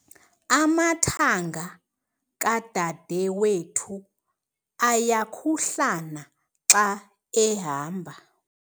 Amathanga kadadewethu ayakhuhlana xa ehamba.